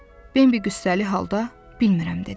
Bimbi qüssəli halda, bilmirəm dedi.